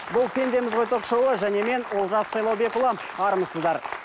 бұл пендеміз ғой ток шоуы және мен олжас сайлаубекұлы армысыздар